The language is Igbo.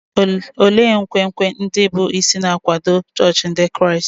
Olee nkwenkwe ndị bụ́ isi na-akwado chọọchị Ndị Kraịst?